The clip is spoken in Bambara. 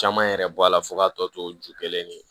Caman yɛrɛ bɔ a la fo ka tɔ tɔ to ju kelen de